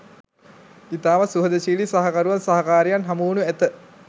ඉතාම සුහදශීලී සහකරුවන් සහකාරියන් හමුවනු ඇත